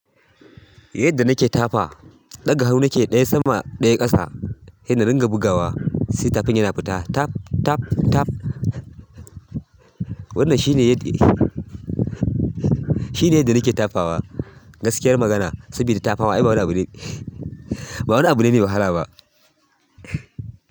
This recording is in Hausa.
Yadda nake tafa, daga hanu nake ɗaya sama ɗaya ƙasa, sai na ringa bugawa, sai tafin yana fita tap, tap, tap. Wannan shine yadda shi ne yadda nake tafawa. Gaskiyar magana sabida tafawa ai ba wani abu ne, ba wani abu ne mai wahala ba.